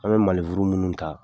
An mɛ minnu ta